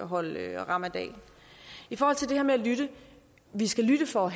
holde ramadan i forhold til det her med at lytte vi skal lytte for